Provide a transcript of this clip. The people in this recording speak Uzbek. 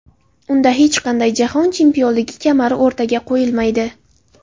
Unda hech qanday jahon chempionligi kamari o‘rtaga qo‘yilmaydi.